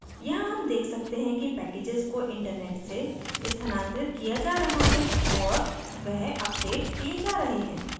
यहाँ हम देख सकते हैं कि packages को internet से स्थानांतरित किया जा रहा है और वह अपडेट किये जा रहे हैं